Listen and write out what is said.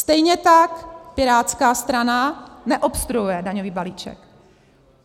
Stejně tak Pirátská strana neobstruuje daňový balíček.